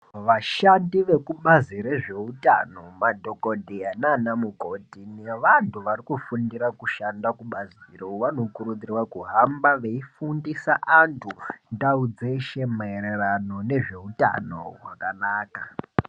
Vashandi vekubazi rezveutano madhokodheya nanamukoti nevantu vari kufundira kushanda kubaziro vano kurudzirwa kufamba veifundisa antu ndau dzeshe mairirano nezveutauno hwakanaka.